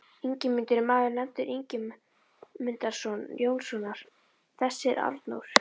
Ingimundur er maður nefndur Ingimundarson Jónssonar, þess er Arnór